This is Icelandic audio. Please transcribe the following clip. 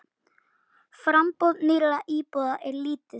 Framboð nýrra íbúða er lítið.